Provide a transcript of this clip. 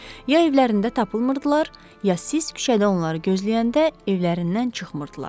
Ya evlərində tapılmırdılar, ya siz küçədə onları gözləyəndə evlərindən çıxmırdılar.